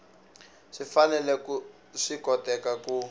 swi fanele swi koteka ku